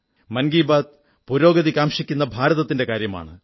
മൻകീ ബാത് പുരോഗതി കാംക്ഷിക്കുന്ന ഭാരതത്തിന്റെ കാര്യമാണ്